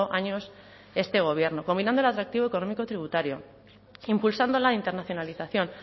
años este gobierno combinando el atractivo económico tributario impulsando la internacionalización